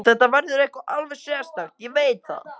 Þetta verður eitthvað alveg sérstakt, ég veit það.